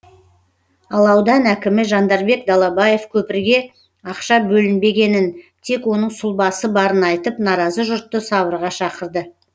ал аудан әкімі жандарбек далабаев көпірге ақша бөлінбегенін тек оның сұлбасы барын айтып наразы жұртты сабырға шақырды